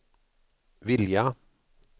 vilja